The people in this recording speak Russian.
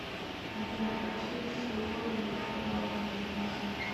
афина включи шувал мы открываем бизнес